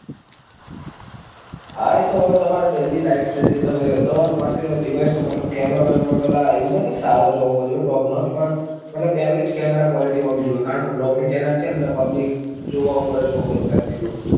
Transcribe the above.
હા એતો તમારે daily lifestyle જે તમે, તમારી પાસે device તો મતલબ camera પેલા એવું તો નથી કે સારો જ હોવો જોઈએ, top નો જ. પણ મતલબ average camera quality હોવી જોઈએ. કારણ કે blog ની channel છે ન એટલે public જોવા ઉપર જ focus કરતી હોય.